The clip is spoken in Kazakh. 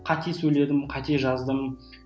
қате сөйледім қате жаздым